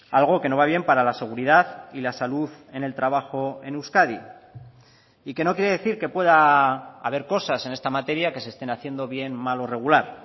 algo que no va bien para la seguridad y la salud en el trabajo en euskadi y que no quiere decir que pueda haber cosas en esta materia que se estén haciendo bien mal o regular